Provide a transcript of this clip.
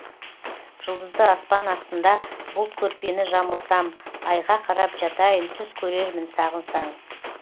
жұлдызды аспан астында бұлт көрпені жамылсам айға қарап жатайын түс көрермін сағынсаң